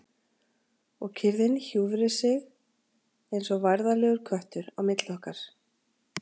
Og kyrrðin hjúfri sig eins og værðarlegur köttur á milli okkar.